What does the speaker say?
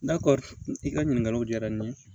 N'a ko i ka ɲininkaliw diyara n ye